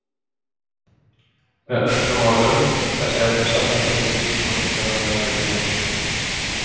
Með öðrum orðum, þessi efni safnast upp í líkama fuglanna meðan þeir lifa.